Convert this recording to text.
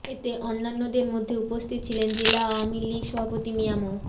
এতে অন্যান্যদের মধ্যে উপস্থিত ছিলেন জেলা আওয়ামী লীগ সভাপতি মিয়া মো